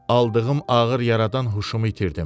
Aldığım ağır yaradan huşumu itirdim.